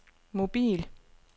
mobil